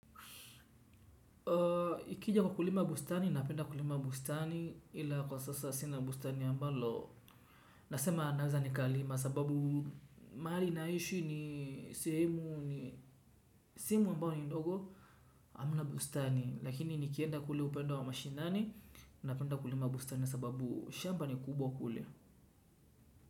Ikija kwa kulima bustani, napenda kulima bustani ila kwa sasa sina bustani ambalo, nasema naweza nikalima sababu mahali naishi ni sehemu ambayo ni ndogo, hamna bustani, lakini nikienda kule upande wa mashinani, napenda kulima bustani sababu shamba ni kubwa kule.